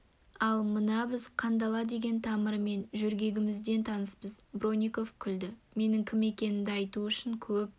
ал мына біз қандала деген тамырмен жөргегімізден таныспыз бронников күлді менің кім екенімді айту үшін көп